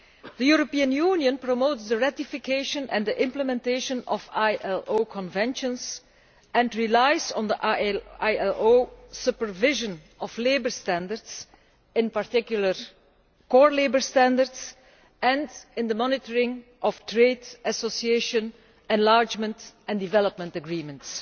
The European Union promotes the ratification and implementation of ILO Conventions and relies on ILO supervision of labour standards, in particular core labour standards, and in the monitoring of trade association enlargement and development agreements.